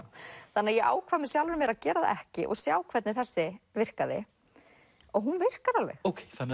þannig að ég ákvað með sjálfri mér að gera það ekki og sjá hvernig þessi virkaði og hún virkar alveg